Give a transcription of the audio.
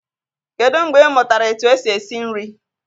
Kedụ mgbe ị mụtara etu esi esi nri?